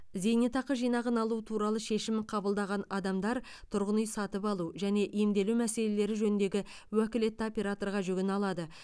зейнетақы жинағын алу туралы шешім қабылдаған адамдар тұрғын үй сатып алу және емделу мәселелері жөніндегі уәкілетті операторға жүгіне алады